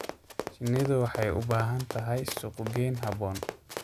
Shinnidu waxay u baahan tahay suuqgeyn habboon.